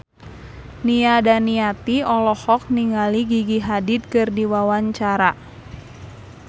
Nia Daniati olohok ningali Gigi Hadid keur diwawancara